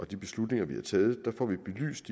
de beslutninger vi har taget får vi belyst